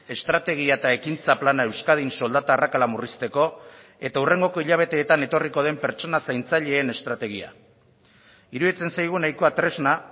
estrategia eta ekintza plana euskadin soldata arrakala murrizteko eta hurrengoko hilabeteetan etorriko den pertsona zaintzaileen estrategia iruditzen zaigu nahikoa tresna